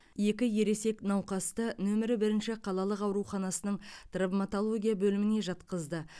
екі ересек науқасты нөмірі бірінші қалалық ауруханасының травматология бөліміне жатқызды